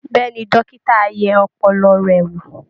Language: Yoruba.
Bẹ́ẹ̀ ni, dókítà á yẹ ọpọlọ rẹ̀ wò